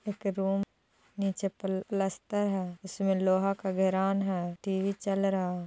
एक रूम नीचे प्लस्टर हैं उसमे लोहा का घेरान है टी वी चल रहा हैं।